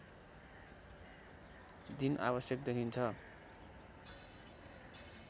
दिन आवश्यक देखिन्छ